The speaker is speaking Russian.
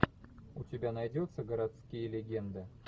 у тебя найдется городские легенды